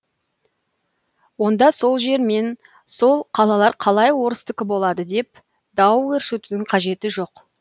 онда сол жер мен сол қалалар қалай орыстікі болады деп дау өршітудің қажеті жоқ